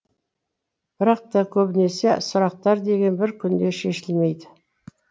бірақ та көбінесе сұрақтар деген бір күнде шешілмейді